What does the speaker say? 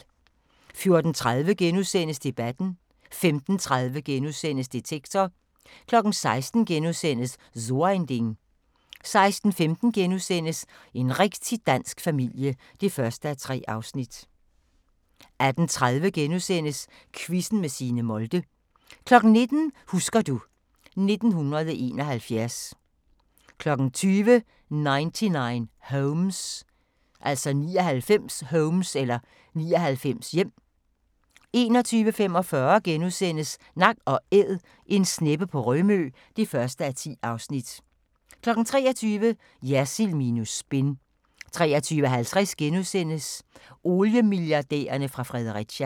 14:30: Debatten * 15:30: Detektor * 16:00: So ein Ding * 16:15: En rigtig dansk familie (1:3)* 18:30: Quizzen med Signe Molde * 19:00: Husker du ... 1971 20:00: 99 Homes 21:45: Nak & Æd – en sneppe på Rømø (1:10)* 23:00: Jersild minus spin 23:50: Oliemilliardærerne fra Fredericia *